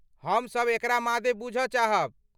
हम सब एकरा मादे बूझऽ चाहब।